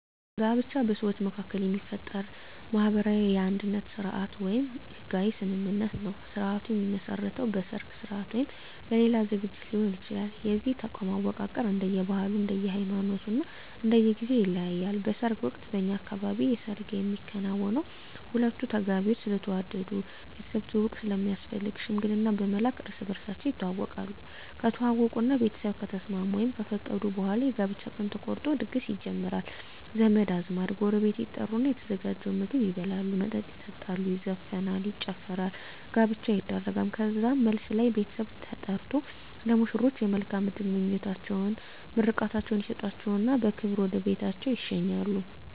ጋብቻ በሰዎች መካከል የሚፈጠር ማህበራዊ የአንድነት ስርአት ወይም ህጋዊ ስምምነት ነዉ ስርአቱ የሚመሰረተዉ በሰርግ ስርአት ወይም በሌላ ዝግጅት ሊሆን ይችላል የዚህ ተቋም አወቃቀር እንደየ ባህሉ እንደየ ሃይማኖቱ እና እንደየ ጊዜዉ ይለያያል በሰርግ ወቅት በእኛ አካባቢ የሰርግ የሚከናወነዉ ሁለቱ ተጋቢዎች ስለተዋደዱ ቤተሰብ ትዉዉቅ ስለሚያስፈልግ ሽምግልና በመላክ እርስ በርሳቸዉ ይተዋወቃሉ ከተዋወቁእና ቤተሰብ ከተስማሙ ወይም ከፈቀዱ በኋላ የጋብቻ ቀን ተቆርጦ ድግስ ይጀመራል ዘመድ አዝማድ ጎረቤት ይጠሩና የተዘጋጀዉን ምግብ ይበላሉ መጠጥ ይጠጣሉ ይዘፈናል ይጨፈራል ጋብቻዉ ይደረጋል ከዛም መልስ ላይ ቤተሰብ ተጠርቆ ለሙሽሮች የመልካም እድል ምኞታቸዉን ምርቃታቸዉን ይሰጧቸዉና በክብር ወደ ቤታቸዉ ይሸኛሉ